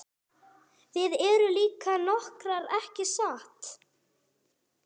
Þið eruð líka rokkarar ekki satt?